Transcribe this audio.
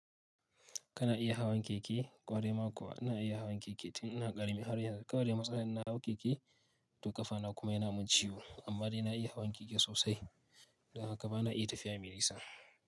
Kana iya hawan keke, ƙware ma kuwa. Ina iya hawan keke tun ina ƙarami har yanzu. Kawai dai matsalar in na hau keke, tukafa na kuma yana mun ciwo amma dai na iya hawan keke sosai. Don haka bana iya tafiya milisa.